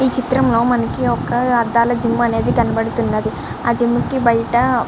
ఈ చిత్రం లో మనకి ఒక అద్దాల జిం అనేది కనబడుతూ వున్నది. ఆ జిం బయట --